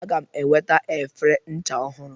Aga m enweta efere ncha ọhụrụ.